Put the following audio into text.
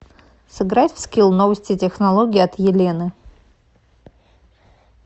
сыграть в скилл новости технологий от елены